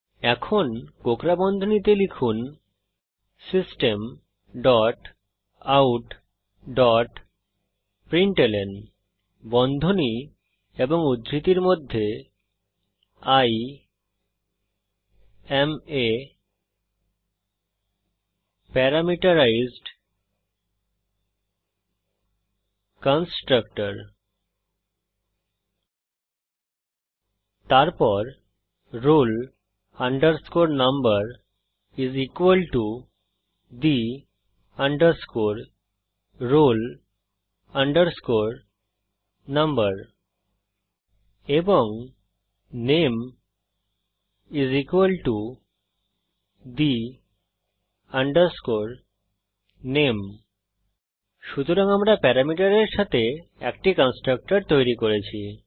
এখন কোঁকড়া বন্ধনীতে লিখুন system dot out dot println বন্ধনী এবং উদ্ধৃতির মধ্যে I am a parameterized constructor তারপর roll number the roll number এবং নামে the name সুতরাং আমরা প্যারামিটারের সাথে একটি কন্সট্রকটর তৈরি করেছি